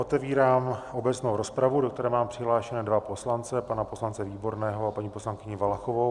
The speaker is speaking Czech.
Otevírám obecnou rozpravu, do které mám přihlášené dva poslance, pana poslance Výborného a paní poslankyni Valachovou.